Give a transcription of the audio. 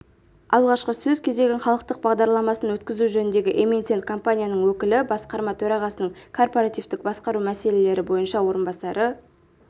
алғашқы сөз кезегін халықтық бағдарламасын өткізу жөніндегі эмитент-компанияның өкілі басқарма төрағасының корпоративтік басқару мәселелері бойынша орынбасары